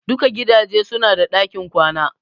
Duka gidaje su na da ɗakin kwana